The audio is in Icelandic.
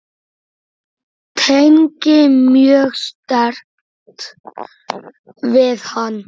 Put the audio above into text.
Tengi mjög sterkt við hann.